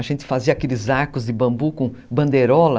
A gente fazia aqueles arcos de bambu com bandeirola.